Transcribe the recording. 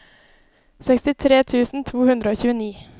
sekstitre tusen to hundre og tjueni